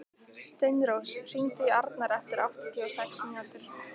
Steinrós, hringdu í Arnar eftir áttatíu og sex mínútur.